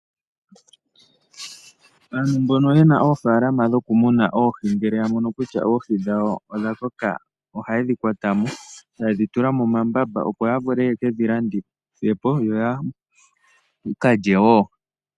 Aantu mbono ye na oofalama dhoku muna oohi, ngele ya mono kutya oohi dhawo odha koka, ohaye dhi kwata no taye dhi tula mombamba opo ya vule ye kedhi landithe po.